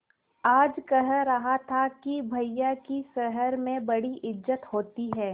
आज कह रहा था कि भैया की शहर में बड़ी इज्जत होती हैं